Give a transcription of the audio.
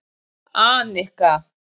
Annika